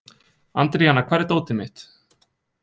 Andríana, hvar er dótið mitt?